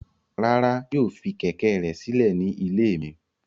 Rara, yoo fi kẹ̀kẹ́ rẹ silẹ ni ile mi